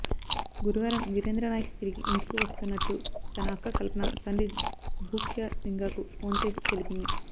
గురువారం వీరేంద్రనాయక్ తిరిగి ఇంటికి వస్తున్నట్టు తన అక్క కల్పన తండ్రి భూక్యా లింగాకు ఫోన్ చేసి తెలిపింది